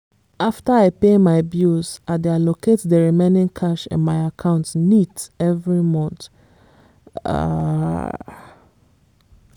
after i pay my bills i dey allocate the remaining cash in my account neat every month. um